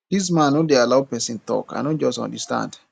dis man no dey allow person talk i no just understand